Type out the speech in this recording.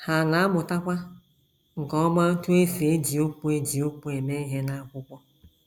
Ha na - amụtakwa nke ọma otú e si eji okwu eji okwu eme ihe n’akwụkwọ.